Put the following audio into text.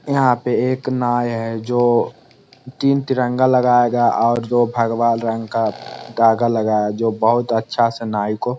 यहाँ पे एक नाय हैं जो तीन तिरंगा लगाया गया और दो भगवा रंग का धागा लगाया जो बहुत अच्छा से नाई को--